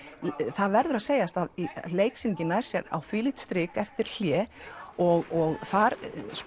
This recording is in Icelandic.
það verður að segjast að leiksýningin nær sér á þvílíkt strik eftir hlé og þar